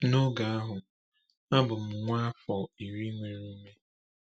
N’oge ahụ, a bụ m nwa afọ iri nwere ume.